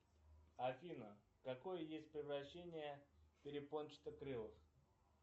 афина какое есть превращение перепончатокрылых